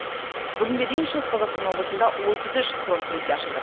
бүгінге дейін шығыс қазақстан облысында отыз үш фронт кеңсе ашылды